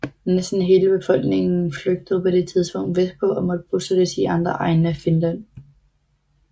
Næsten hele befolkningen flygtede på dette tidspunkt vestpå og måtte bosættes i andre egne af Finland